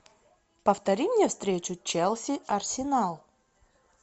повтори мне встречу челси арсенал